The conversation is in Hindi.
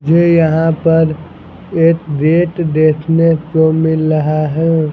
मुझे यहां पर एक रेट देखने को मिल रहा है।